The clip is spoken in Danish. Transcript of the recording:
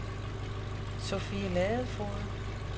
Sofie Ladefoged